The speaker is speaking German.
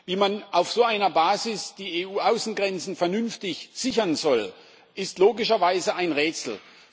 Wie man auf so einer Basis die EU Außengrenzen vernünftig sichern soll, ist logischerweise ein Rätsel.